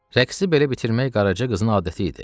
Rəqsi belə bitirmək Qaraca qızın adəti idi.